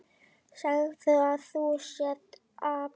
Segðu að þú sért api!